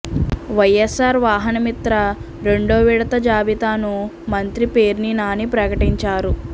వైఎస్సార్ వాహనమిత్ర రెండో విడత జాబితాను మంత్రి పేర్ని నాని ప్రకటించారు